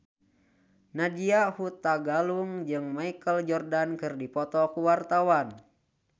Nadya Hutagalung jeung Michael Jordan keur dipoto ku wartawan